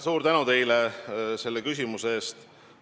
Suur tänu teile selle küsimuse eest!